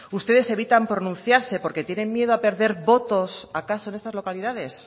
ustedes evitan pronunciarse porque tiene miedo a perder votos acaso en estas localidades